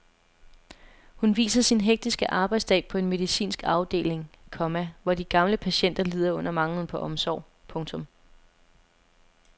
Hun viser sin hektiske arbejdsdag på en medicinsk afdeling, komma hvor de gamle patienter lider under manglen på omsorg. punktum